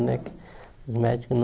Né que o médico